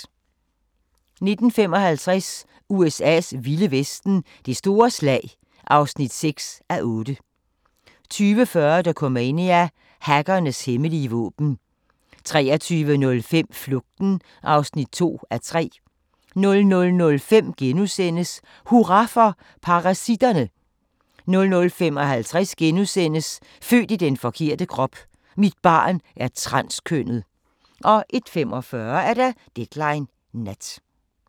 19:55: USA's vilde vesten: Det store slag (6:8) 20:40: Dokumania: Hackernes hemmelige våben 23:05: Flugten (2:3) 00:05: Hurra for parasitterne! * 00:55: Født i den forkerte krop: Mit barn er transkønnet * 01:45: Deadline Nat